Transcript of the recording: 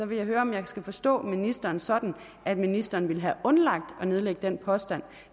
vil høre om jeg skal forstå ministeren sådan at ministeren ville have undladt at nedlægge den påstand